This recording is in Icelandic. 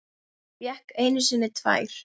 Fékk einu sinni tvær.